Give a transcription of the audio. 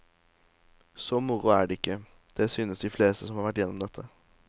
Så moro er det ikke, det synes de fleste som har vært igjennom dette.